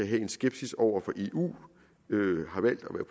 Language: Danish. have en skepsis over for eu har valgt at